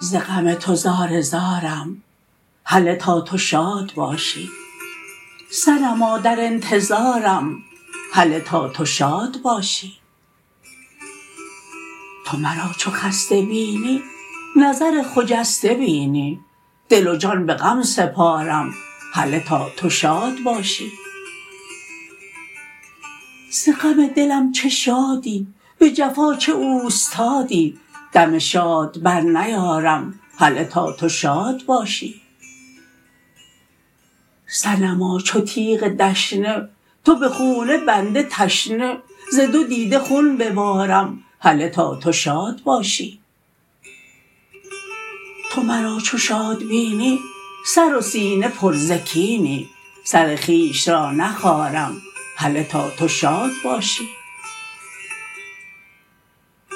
ز غم تو زار زارم هله تا تو شاد باشی صنما در انتظارم هله تا تو شاد باشی تو مرا چو خسته بینی نظر خجسته بینی دل و جان به غم سپارم هله تا تو شاد باشی ز غم دلم چه شادی به جفا چه اوستادی دم شاد برنیارم هله تا تو شاد باشی صنما چو تیغ دشنه تو به خون بنده تشنه ز دو دیده خون ببارم هله تا تو شاد باشی تو مرا چو شاد بینی سر و سینه پر ز کینی سر خویش را نخارم هله تا تو شاد باشی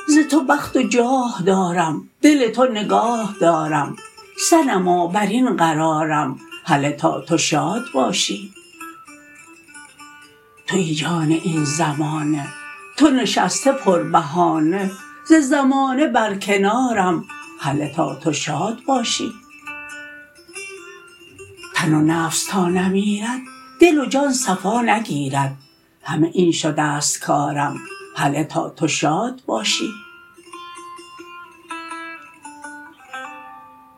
ز تو بخت و جاه دارم دل تو نگاه دارم صنما بر این قرارم هله تا تو شاد باشی توی جان این زمانه تو نشسته پربهانه ز زمانه برکنارم هله تا تو شاد باشی تن و نفس تا نمیرد دل و جان صفا نگیرد همه این شده ست کارم هله تا تو شاد باشی